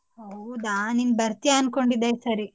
ಹೌದಾ ನೀನ್ ಬರ್ತೀಯಾ ಅನಕೊಂಡಿದ್ದೇ ಈ ಸಾರಿ.